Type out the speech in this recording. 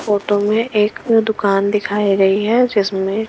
photo में एक दुकान दिखाई गई है जिसमें --